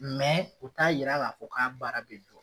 u t'a yira k'a fɔ k'a baara bɛ jɔ.